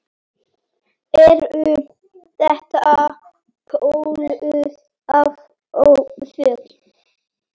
Eru þetta kölluð afföll.